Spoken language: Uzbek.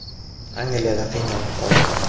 Angliyada qiynalib qoldi.